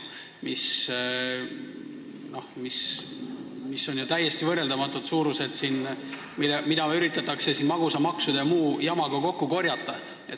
Need on ju täiesti võrreldamatud suurused, mida üritatakse siin magusamaksude ja muu jamaga kokku korjata.